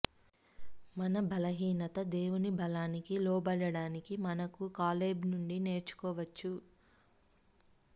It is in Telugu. మన బలహీనత దేవుని బలానికి లోబడడానికి మనకు కాలేబ్ నుండి నేర్చుకోవచ్చు